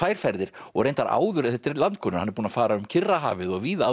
ferðir og reyndar áður þetta er landkönnuður og hann er búinn að fara um Kyrrahafið og víða áður